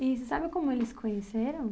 E você sabe como eles se conheceram?